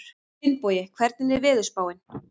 Finnbogi, hvernig er veðurspáin?